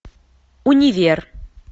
универ